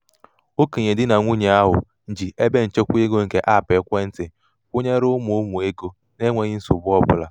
okenye di na nwunye ahụ ji ebenchekwa ego nke aapụ ekwentị kwụnyere ụmụ ụmụ ego na-enweghi nsogbu ọbụla.